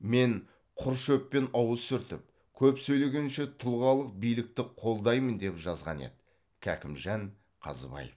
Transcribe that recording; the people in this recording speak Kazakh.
мен құр шөппен ауыз сүртіп көп сөйлегенше тұлғалық биіктікті қолдаймын деп жазған еді кәкімжан қазыбаев